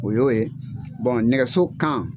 O ye o ye nɛgɛso kan